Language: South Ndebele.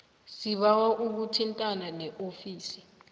sibawa uthintane neofisi